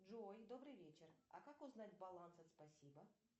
джой добрый вечер а как узнать баланс от спасибо